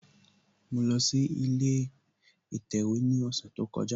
Mo lọ sí ilé ìsèwé ní ọ̀sẹ̀ tó kọjá